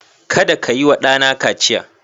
Kada ka yi wa ɗana kaciya